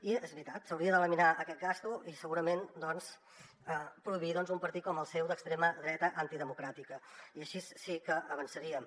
i és veritat s’hauria d’eliminar aquesta despesa i segurament doncs prohibir un partit com el seu d’extrema dreta antidemocràtica i així sí que avançaríem